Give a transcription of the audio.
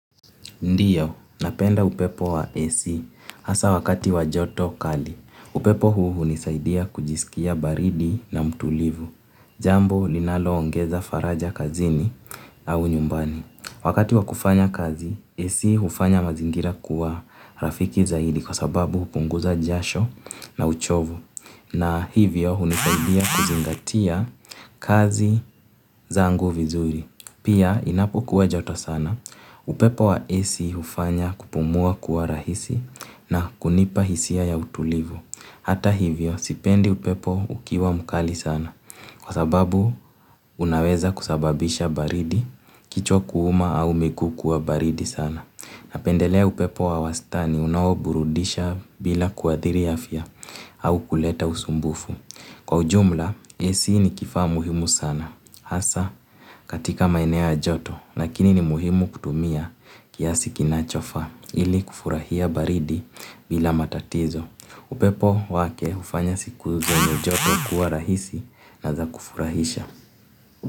Ndiyo, napenda upepo wa AC hasa wakati wa joto kali, upepo huu hunisaidia kujisikia baridi na mtulivu, jambo linaloongeza faraja kazini au nyumbani. Wakati wa kufanya kazi, AC hufanya mazingira kuwa rafiki zaidi kwa sababu hupunguza jasho na uchovu, na hivyo hunisaidia kuzingatia kazi zangu vizuri. Pia, ninapokuwa joto sana, upepo wa AC hufanya kupumua kuwa rahisi na kunipa hisia ya utulivu. Hata hivyo, sipendi upepo ukiwa mkali sana. Kwa sababu, unaweza kusababisha baridi, kichwa kuuma au miguu kuwa baridi sana. Napendelea upepo wa wastani, unaoburudisha bila kuadhiri afya au kuleta usumbufu. Kwa ujumla, ac ni kifaa muhimu sana. Hasa katika maeneo ya joto, lakini ni muhimu kutumia kiasi kinachofaa ili kufurahia baridi bila matatizo. Upepo wake hufanya siku zenye joto kuwa rahisi na za kufurahisha.